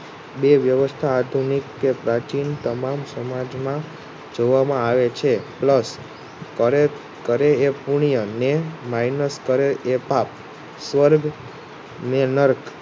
બે વ્યવસ્થા આધુનિક કે પ્રાચીન તમામ સમાજમાં જોવામાં આવે છે. Plus કરે એ પૂર્ણય ને Minus કરે એ પાપ સ્વર્ગ ને નર્ક